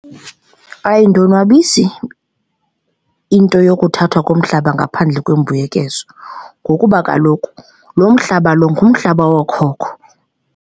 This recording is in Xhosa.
Ayindonwabisi into yokuthathwa komhlaba ngaphandle kwembuyekezo ngokuba kaloku lo mhlaba lo ngumhlaba wookhokho.